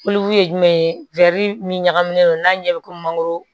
ye jumɛn ye min ɲagaminen don n'a ɲɛ bɛ komi mangoro